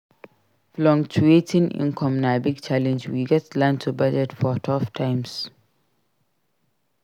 Fluctuating income na big challenge; we gats learn to budget for tough times.